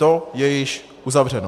To je již uzavřeno.